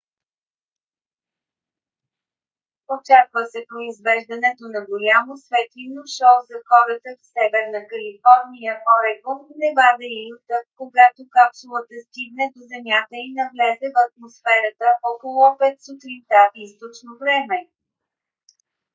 очаква се произвеждането на голямо светлинно шоу за хората в северна калифорния орегон невада и юта когато капсулата стигне до земята и навлезе в атмосферата около 5 сутринта източно време